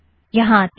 यहाँ आतें हैं